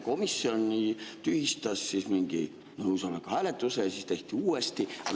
Komisjoni tühistas mingi hääletuse ja siis tehti see uuesti.